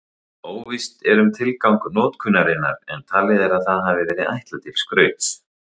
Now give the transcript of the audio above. Óvíst er um tilgang notkunarinnar en talið er að það hafi verið ætlað til skrauts.